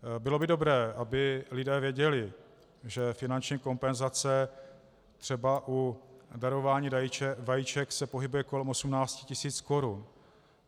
Bylo by dobré, aby lidé věděli, že finanční kompenzace třeba u darování vajíček se pohybuje kolem 18 000 korun.